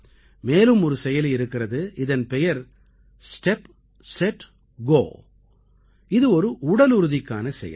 மேலும் ஒரு செயலி இருக்கிறது இதன் பெயர் ஸ்டெப் செட் கோ இது ஒரு உடலுறுதிக்கான செயலி